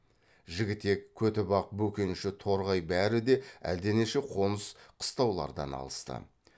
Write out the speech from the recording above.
жігітек көтібақ бөкенші торғай бәрі де әлденеше қоныс қыстаулардан алысты